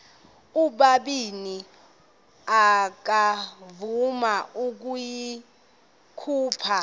ubabini akavuma ukuyikhupha